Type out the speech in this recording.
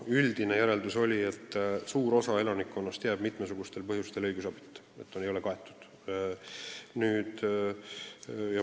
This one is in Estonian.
Üldine järeldus oli, et suur osa elanikkonnast jääb mitmesugustel põhjustel õigusabita.